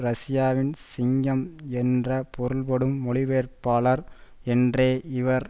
ரஷியாவில் சிங்கம் என்ற பொருள்படும் மொழி பெயர்ப்பாளர் என்றே இவர்